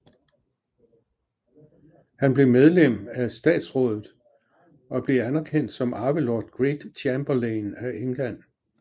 Han blev medlem af statsrådet og blev anerkendt som arve Lord Great Chamberlain af England